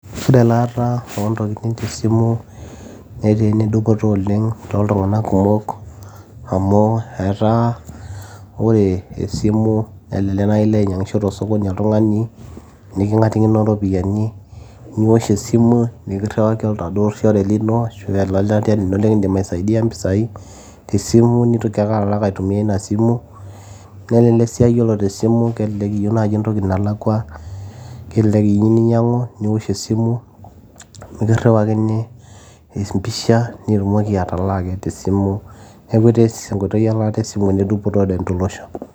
ore elaata ontokitin tesimu netaa enedupoto oleng toltung'anak kumok amu etaa ore esimu elelek naaji ilo ainyiang'isho tosokoni oltung'ani niking'atikino iropiyiani niwosh esimu nikirriwaki oladuo shore lino ashu olelatia lino likindim aisaidia mpisai tesimu nitoki ake alak aitumia ina simu nelelek sii aa yiolo tesimu kelelek iyieu naaji entoki nalakua kelelek iyieu ninyiang'u niwosh esimu nikirriwakini empisha nitumoki atalaa ake tesimu neeku etaa enkoitoi elaata esimu enedupoto tolosho.